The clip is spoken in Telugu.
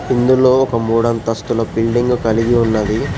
ఇందులో ఒక మూడు అంతస్తుల బిల్డింగ్ కలిగి ఉన్నది.